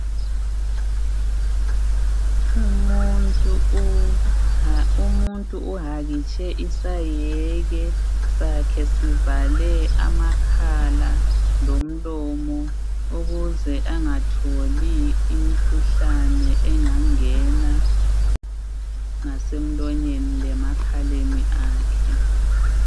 Umuntu uhakitshe isayeke sakhe sivale amakhala lomlomo. Ukuze angatholi imkhuhlane engangena ngase mlonyeni lemakhaleni akhe .